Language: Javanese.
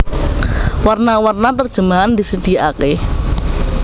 Werna werna terjemahan disediaaké